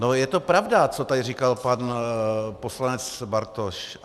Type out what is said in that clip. No, je to pravda, co tady říkal pan poslanec Bartoš.